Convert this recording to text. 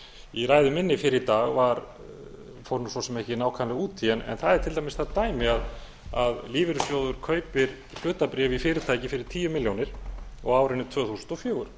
í ræðu minni fyrr í dag fór svo sem ekki nákvæmlega út í en það er til dæmis það dæmi að lífeyrissjóður kaupir hlutabréf í fyrirtæki fyrir tíu milljónir á árinu tvö þúsund og fjögur